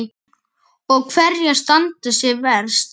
Og hverjar standa sig verst?